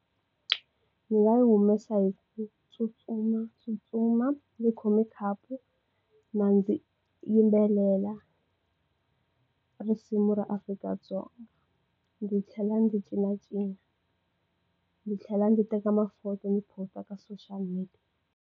Ndzi nga humesa hi ku tsutsumatsutsuma ni khomi khapu ma ndzi yimbelela risimu ra Afrika-Dzonga ndzi tlhela ndzi cincacinca ndzi tlhela ndzi teka maphoto ni posta ka social media.